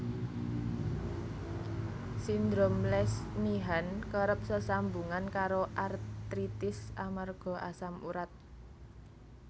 Sindrom Lesch Nyhan kerep sesambungan karo artritis amarga asam urat